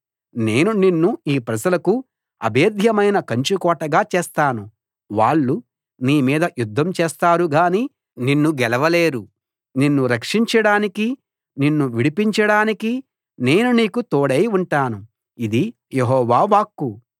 నేను నిన్ను ఈ ప్రజలకు అభేధ్యమైన కంచుకోటగా చేస్తాను వాళ్ళు నీ మీద యుద్ధం చేస్తారు గాని నిన్ను గెలవలేరు నిన్ను రక్షించడానికి నిన్ను విడిపించడానికి నేను నీకు తోడై ఉంటాను ఇది యెహోవా వాక్కు